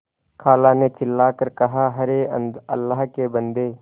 खाला ने चिल्ला कर कहाअरे अल्लाह के बन्दे